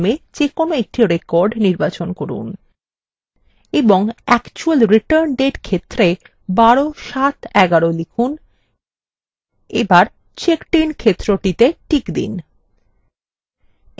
এবং actual return date ক্ষেত্রে ১২/৭/১১ লিখুন এবার checkedin ক্ষেত্রতে টিক দিন